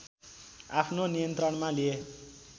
आफ्नो नियन्त्रणमा लिए